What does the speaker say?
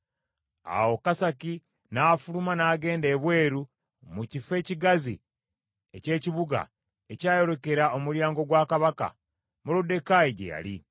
Awo Kasaki n’afuluma n’agenda ebweru mu kifo ekigazi eky’ekibuga ekyayolekera omulyango gwa Kabaka, Moluddekaayi gye yali.